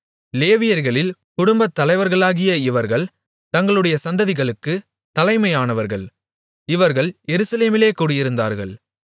லேவியர்களில் குடும்பத்தலைவர்களாகிய இவர்கள் தங்களுடைய சந்ததிகளுக்குத் தலைமையானவர்கள் இவர்கள் எருசலேமிலே குடியிருந்தார்கள்